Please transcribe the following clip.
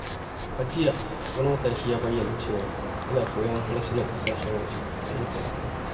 A jiya, wani matashi ya bayyana cewa yana koyon harsunan ƙasashen waje ta intanet.